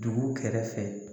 Dugu kɛrɛfɛ